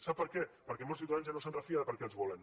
sap per què perquè molts ciutadans ja no es refien de per a què els volen